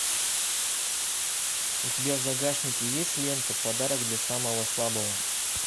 у тебя в загашнике есть лента подарок для самого слабого